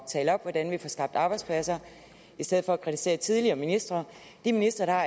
tale op hvordan vi får skabt arbejdspladser i stedet for at kritisere tidligere ministre de ministre der